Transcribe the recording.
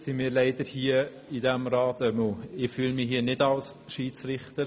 Nun fühle ich mich hier im Grossen Rat aber nicht als Schiedsrichter.